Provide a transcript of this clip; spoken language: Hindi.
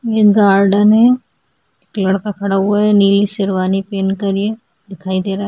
ये गार्डन है लड़का खड़ा हुआ है नीली शेरवानी पहन कर ये दिखाई दे रहा है।